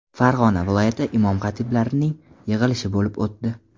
Farg‘ona viloyati imom-xatiblarning yig‘ilishi bo‘lib o‘tdi.